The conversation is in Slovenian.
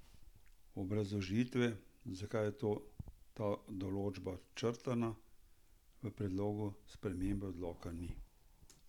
Obrazložitve, zakaj je ta določba črtana, v predlogu spremembe odloka ni.